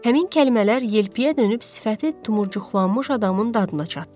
Həmin kəlmələr yelpüyə dönüb sifəti tumurcuqlanmış adamın dadına çatdı.